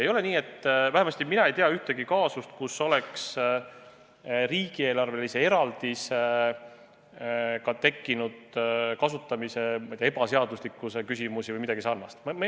Ei ole nii või vähemasti mina ei tea ühtegi kaasust, kus oleks riigieelarvelise eraldisega tekkinud kasutamise ebaseaduslikkuse küsimusi või midagi sarnast.